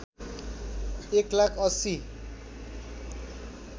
१ lakh ८०